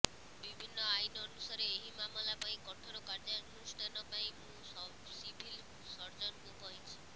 ବିଭିନ୍ନ ଆଇନ୍ ଅନୁସାରେ ଏହି ମାମଲା ପାଇଁ କଠୋର କାର୍ଯ୍ୟାନୁଷ୍ଠାନ ପାଇଁ ମୁଁ ସିଭିଲ୍ ସର୍ଜନଙ୍କୁ କହିଛି